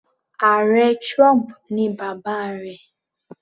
Ààrẹ trump ni bàbá rẹ̀.